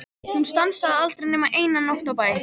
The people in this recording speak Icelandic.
Hún stansaði aldrei nema eina nótt á bæ.